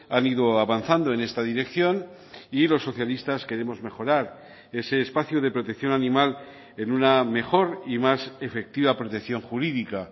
han ido avanzando en esta dirección y los socialistas queremos mejorar ese espacio de protección animal en una mejor y más efectiva protección jurídica